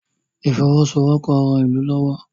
ifowosowopo rán ilú lówó